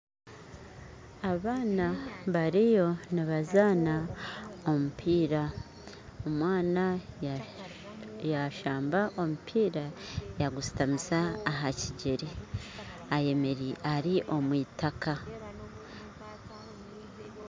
Abaana bariyo nibazana omupira omwaana yashamba omupiira yagushutamisa aha kigyere ayemereire ari omw'itaka.